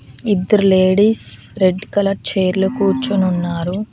ఇద్దరు ladies red colour chair లో కూర్చొని ఉన్నారు.